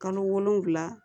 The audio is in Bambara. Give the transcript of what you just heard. Kalo wolonfila